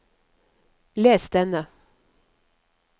les denne